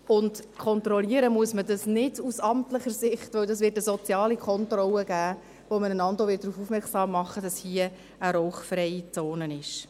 Und kontrollieren muss man das nicht aus amtlicher Sicht, weil es eine soziale Kontrolle geben wird, bei der man einander auch darauf aufmerksam machen wird, dass sich dort eine rauchfreie Zone befindet.